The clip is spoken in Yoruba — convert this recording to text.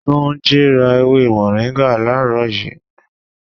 3. Túnjí rà ewé moringa làárọ̀ yii